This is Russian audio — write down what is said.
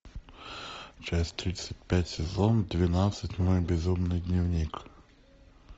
часть тридцать пять сезон двенадцать мой безумный дневник